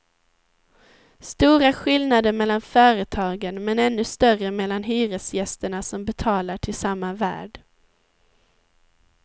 Stora skillnader mellan företagen, men ännu större mellan hyresgästerna som betalar till samma värd.